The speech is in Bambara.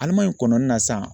Alimaɲi kɔnɔni na sisan